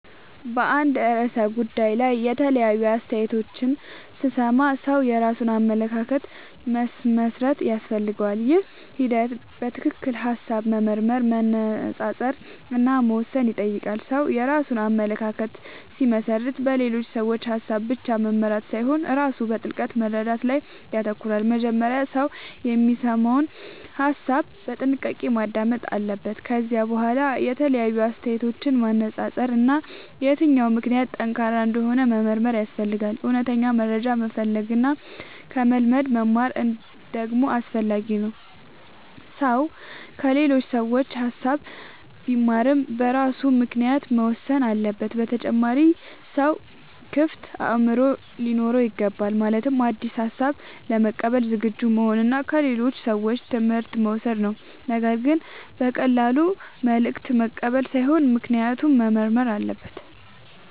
በአንድ ርዕሰ ጉዳይ ላይ የተለያዩ አስተያየቶችን ሲሰማ ሰው የራሱን አመለካከት መመስረት ያስፈልገዋል። ይህ ሂደት በትክክል ሐሳብ መመርመር፣ መነጻጸር እና መወሰን ይጠይቃል። ሰው የራሱን አመለካከት ሲመሰርት በሌሎች ሰዎች ሐሳብ ብቻ መመራት ሳይሆን ራሱ በጥልቅ መረዳት ላይ ይተኮራል። መጀመሪያ ሰው የሚሰማውን ሐሳብ በጥንቃቄ ማዳመጥ አለበት። ከዚያ በኋላ የተለያዩ አስተያየቶችን ማነጻጸር እና የትኛው ምክንያት ጠንካራ እንደሆነ መመርመር ያስፈልጋል። እውነተኛ መረጃ መፈለግ እና ከልምድ መማር ደግሞ አስፈላጊ ነው። ሰው ከሌሎች ሰዎች ሐሳብ ቢማርም በራሱ ምክንያት መወሰን አለበት። በተጨማሪም ሰው ክፍት አእምሮ ሊኖረው ይገባል። ማለትም አዲስ ሐሳብ ለመቀበል ዝግጁ መሆን እና ከሌሎች ሰዎች ትምህርት መውሰድ ነው። ነገር ግን በቀላሉ መልእክት መቀበል ሳይሆን ምክንያቱን መመርመር አለበት።